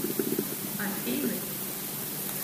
афины